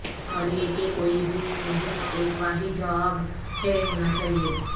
اور یہ کہ کوئی بھی نہیں ایک واحد جواب ہے ہونا چاہئے